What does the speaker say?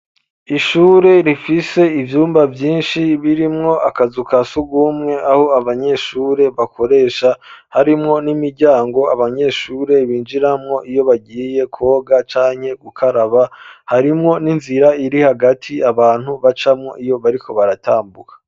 Ishure rifise ivyumba byinshi birimwo akazu kasugumwe aho abanyeshure bakoresha, harimwo n'imiryango abanyeshure binjiramwo iyo bagiye kwoga canke gukaraba harimwo n'inzira iri hagati abantu bacamwo iyo bariko baratambuka.